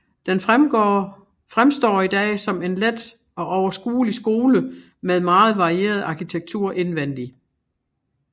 Den fremstår i dag som en let og overskuelig skole med meget varieret arkitektur indvendig